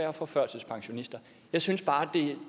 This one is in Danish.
og for førtidspensionister jeg synes bare at